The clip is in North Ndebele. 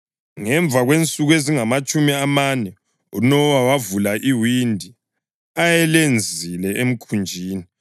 Ngemva kwensuku ezingamatshumi amane uNowa wavula iwindi ayelenzile emkhunjini